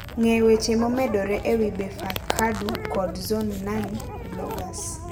Ng'e weche momedore e wi Befeqadu kod Zone9 Bloggers.